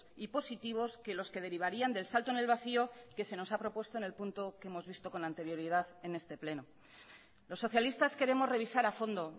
y positivos que los que derivarían del salto en el vacío que se nos ha propuesto en el punto que hemos visto con anterioridad en este pleno los socialistas queremos revisar a fondo